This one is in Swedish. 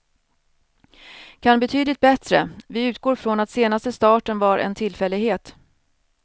Kan betydligt bättre, vi utgår från att senaste starten var en tillfällighet.